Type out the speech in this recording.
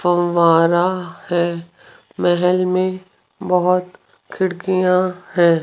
फव्वारा हैं महल में बहुत खिड़कियां हैं।